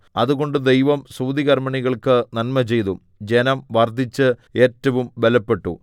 അതുകൊണ്ട് ദൈവം സൂതികർമ്മിണികൾക്കു നന്മചെയ്തു ജനം വർദ്ധിച്ച് ഏറ്റവും ബലപ്പെട്ടു